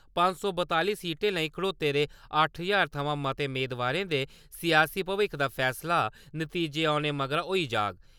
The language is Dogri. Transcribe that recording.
पंज सौ बतालीं सीटें लेई खडोते दे अट्ठ ज्हार थमां मते मेदवारें दे सियासी भविक्ख दा फैसला नतीजे औने मगरा होई जाह्ग।